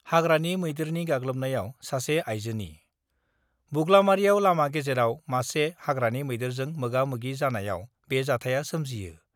हाग्रानि मैदेरनि गाग्लोबनायाव सासे आइजोनि बुग्लामारियाव लामा गेजेराव मासे हाग्रानि मैदेरजों मोगा-मोगि जानायाव बे जाथाया सोमजियो।